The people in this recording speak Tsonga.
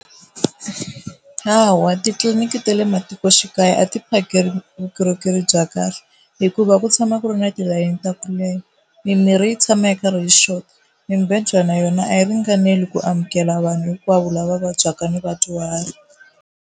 Hawa titliliniki ta le matikoxikaya a ti phakeli vukorhokeri bya kahle hikuva ku tshama ku ri na tilayini ta ku leha, mimirhi yi tshama yi karhi yi xota, mibedwa na yona a yi ringanele ku amukela vanhu hinkwavo lava vabyaka ni vadyuhari.